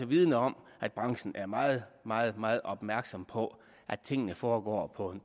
vidende om at branchen er meget meget meget opmærksom på at tingene foregår på